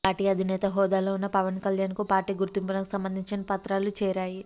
party అధినేత హోదాలో ఉన్న పవన్ కల్యాణ్ కు పార్టీ గుర్తింపునకు సంబందించిన పత్రాలు చేరాయి